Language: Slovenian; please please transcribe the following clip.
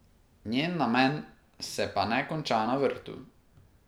Njen namen se pa ne konča na vrtu.